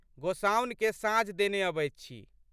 गोसाउनिकेँ साँझ देने अबैत छी।